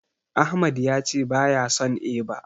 Ahmad yace baya son eba.